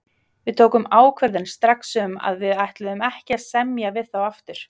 Við tókum ákvörðun strax um að við ætluðum ekki að semja við þá aftur.